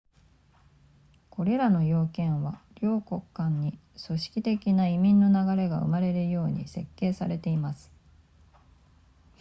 これらの要件は両国間に組織的な移民の流れが生まれるように設計されています